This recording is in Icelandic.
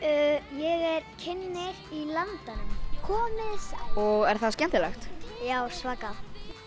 ég er kynnir í Landanum komiði sæl og er það skemmtilegt já svakalega